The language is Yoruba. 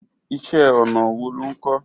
Iṣẹ́ ọnà wo lo ń kò?